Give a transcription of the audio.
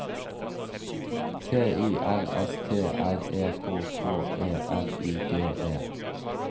T I L S T R E K K E L I G E